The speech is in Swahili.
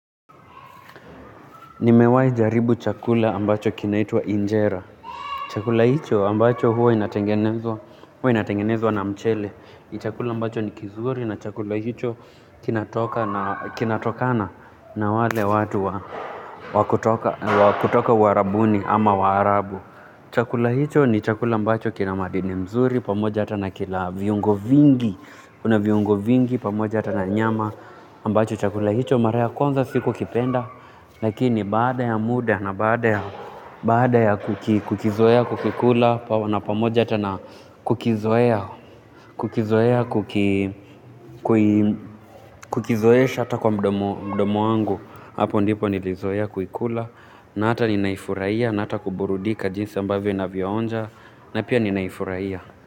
Nimewahi jaribu chakula ambacho kinaitwa injera. Chakula hicho ambacho huwa inatengenezwa na mchele. Chakula ambacho ni kizuri na chakula hicho kinatokana na wale watu wa kutoka Uarabuni ama waarabu. Chakula hicho ni chakula ambacho kina madini mzuri pamoja hata na kila viungo vingi. Kuna viungo vingi pamoja hata na nyama ambacho chakula hicho mara ya kwanza sikukipenda. Lakini baada ya muda na baada ya kukizoea kukikula na pamoja hata na kukizoea kukizoea kukizoesha hata kwa mdomo wangu hapo ndipo nilizoea kuikula na hata ninaifurahia na hata kuburudika jinsi ambavyo inavyoonja na pia ninaifurahia.